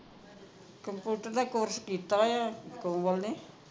computer ਦਾ course ਕੀਤਾ ਆ ਕੋਮਲ ਨੇ